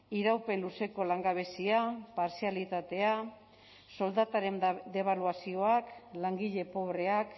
iraupen luzeko langabezia partzialitatea soldataren debaluazioak langile pobreak